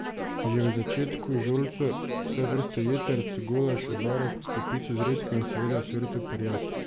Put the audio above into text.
Že v začetku žolco, vse vrste jetrc, golaž, obaro, kopico zrezkov in seveda ocvrto perjad.